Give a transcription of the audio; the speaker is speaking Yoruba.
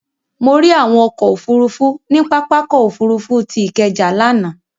Mo rí àwọn ọkọ̀ òfurufú ní pápákọ̀ òfurufú tí Ikeja lánàá.